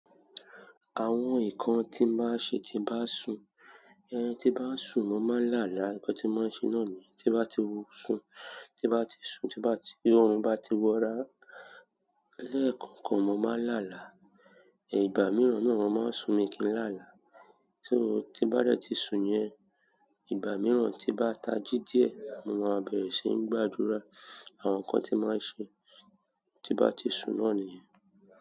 Àwọn nǹkan tí máa ń ṣe tí bá sùn, ẹhn tí bá sùn mo máa ń làálàá, nǹkan tí máa ń ṣe náà ni yen. Tí bá ti wo sùn, tí bá ti sùn, tí orun bá ti wọra lẹ́ẹ̀kọ̀kan, mo máa ń làálàá. Ìgbà mìíràn na mo máa ń sùn, mi kì í làálàá. So tí bá dẹti sùn yẹn, ìgbà mìíràn tí bá tají díẹ̀, mo máa bẹ̀rẹ̀ síi gbàdúrà, àwọn nǹkan tí máa ń ṣe tí bá ti sùn náà nìyẹn.